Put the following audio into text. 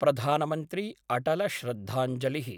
प्रधानमन्त्रीअटलश्रद्धाञ्जलिः